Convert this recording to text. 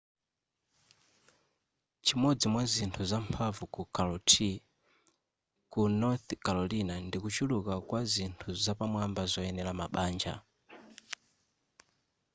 chimodzi mwazinthu zamphamvu ku charlotte ku north carolina ndikuchuluka kwa zinthu zapamwamba zoyenera mabanja